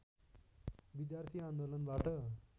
विद्यार्थी आन्दोलनबाट